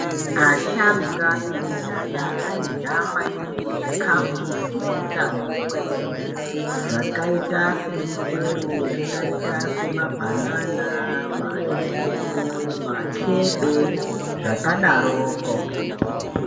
Asharukwa ekudhaya airya maningi zvikafu zvine utano kwemene zvakaita semichero yakaita semabhanana mandimu makebe zvakadaroko.